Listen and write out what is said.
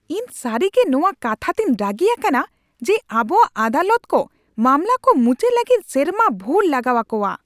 ᱤᱧ ᱥᱟᱹᱨᱤᱜᱮ ᱱᱚᱣᱟ ᱠᱟᱛᱷᱟᱛᱮᱧ ᱨᱟᱹᱜᱤ ᱟᱠᱟᱱᱟ ᱡᱮ ᱟᱵᱚᱣᱟᱜ ᱟᱫᱟᱞᱚᱛ ᱠᱚ ᱢᱟᱢᱞᱟ ᱠᱚ ᱢᱩᱪᱟᱹᱫ ᱞᱟᱹᱜᱤᱫ ᱥᱮᱨᱢᱟ ᱵᱷᱩᱨ ᱞᱟᱜᱟᱣ ᱟᱠᱚᱣᱟ ᱾